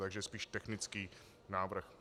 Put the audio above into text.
Takže spíš technický návrh.